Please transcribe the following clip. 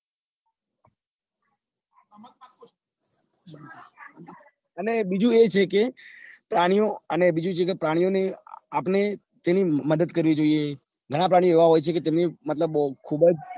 અને બીજું એ છે કે પ્રાણીઓ અને બીજું છે કે પ્રાણીઓ આપડે તેમની મદદ કરવી જોઈએ ઘણા પ્રાણીઓ એવા હોય છે એમને મતલબ ખુબજ